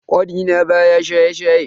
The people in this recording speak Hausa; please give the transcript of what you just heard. Kanina baya shaye-shaye.